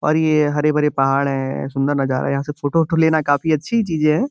और ये हरे भरे पहाड़ है सुंदर नजारा है। यहाँ से फोटो वोटों लेना काफी अच्छी चीज है।